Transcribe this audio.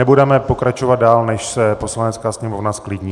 Nebudeme pokračovat dál, než se Poslanecká sněmovna zklidní.